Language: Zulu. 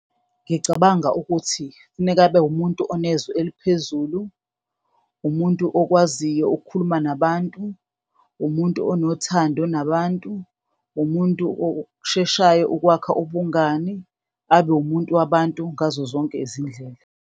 Ngicabanga ukuthi kufuneka abe umuntu onezwi eliphezulu, umuntu okwaziyo ukukhuluma nabantu, umuntu onothando nabantu, umuntu osheshayo ukwakha ubungani, abe umuntu wabantu ngazo zonke izindlela.